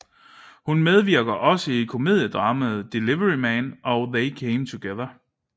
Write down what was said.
Hun medvirkede også i komediedramaet Delivery Man og They Came Together